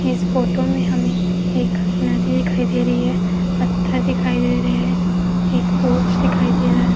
इस फोटो में हमें एक नदी दिखाई दे रही है पत्थर दिखाई दे रहे हैं एक पोर्च दिखाई दे रहा है।